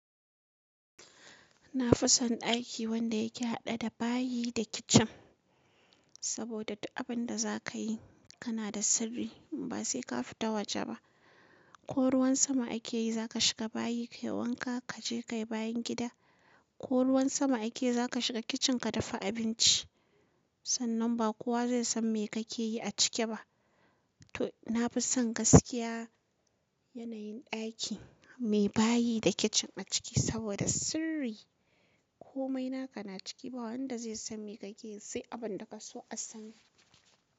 Na fi son ɗaki wanda yake haɗe da bayi da kicin, saboda duk abin da za ka yi kana da sirri. Ba sai ka fita waje ba. Ko ruwan sama ake yi za ka shiga bayi ka yi wanka, ka je ka yi bayan gida. Ko ruwan sama ake yi za ka shiga kicin ka dafa abinci. Sannan ba kowa zai san me kake yi a ciki ba. To, na fi son gaskiya yanayin ɗaki mai bayi da kicin a ciki saboda sirri. Komai naka na ciki, ba wanda zai san me kake yi sai abin da ka so a sani.